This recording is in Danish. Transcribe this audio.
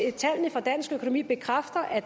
at tallene for dansk økonomi bekræfter at